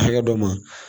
Hakɛ dɔ ma